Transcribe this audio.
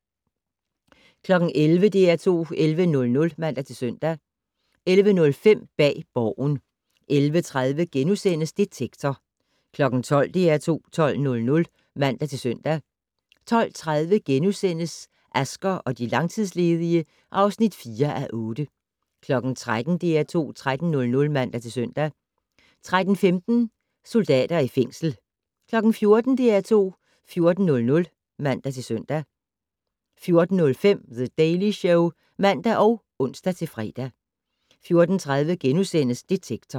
11:00: DR2 11:00 (man-søn) 11:05: Bag Borgen 11:30: Detektor * 12:00: DR2 12:00 (man-søn) 12:30: Asger og de langtidsledige (4:8)* 13:00: DR2 13:00 (man-søn) 13:15: Soldater i fængsel 14:00: DR2 14:00 (man-søn) 14:05: The Daily Show (man og ons-fre) 14:30: Detektor *